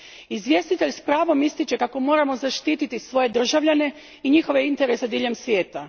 Izvjestitelj s pravom ističe kako moramo zaštititi svoje državljane i njihove interese diljem svijeta.